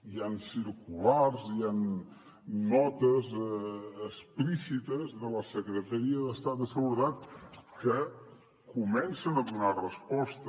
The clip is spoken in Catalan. hi han circulars hi han notes explícites de la secretaria d’estat de seguretat que comencen a donar resposta